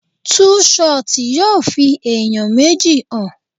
Tú ṣọtì yóò fi ẹ̀yàn méjì hàn.